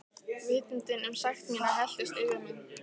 Vitundin um sekt mína helltist yfir mig.